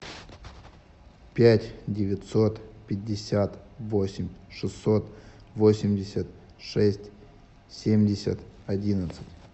пять девятьсот пятьдесят восемь шестьсот восемьдесят шесть семьдесят одиннадцать